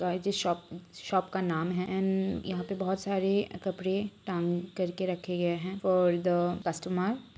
Toys shop shop का नाम है ऐंड यहां पे बहोत सारे कपडे टांग करके रखे गए है फॉर ध कस्टमर ।